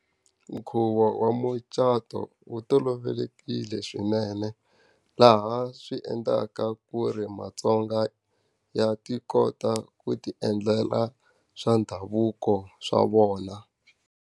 Nkhuvo wa mucato wu tolovelekile swinene, laha swi endlaka ku ri maTsonga ya ti kota ku ti endlela swa ndhavuko swa vona.